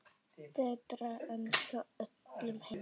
Betra en hjá öllum hinum.